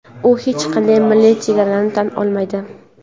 u hech qanday milliy chegaralarni tan olmaydi.